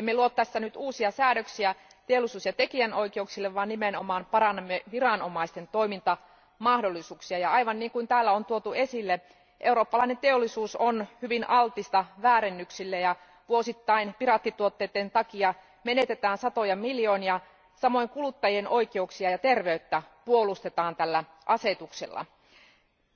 Emme luo tässä nyt uusia säädöksiä teollisuus ja tekijänoikeuksille vaan nimenomaan parannamme viranomaisten toimintamahdollisuuksia, ja aivan niin kuin täällä on tuotu esille, eurooppalainen teollisuus on hyvin altista väärennöksille ja vuosittain piraattituotteiden takia menetetään satoja miljoonia euroja. Samoin kuluttajien oikeuksia ja terveyttä puolustetaan tällä asetuksella.